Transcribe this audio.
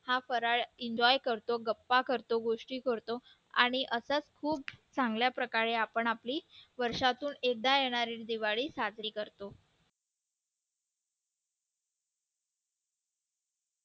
हा फराळ enjoy करतो गप्पा करतो गोष्टी करतो आणि अशाच खूप चांगल्या प्रकारे आपण आपली वर्षातून एकदा येणारी दिवाळी साजरी करतो.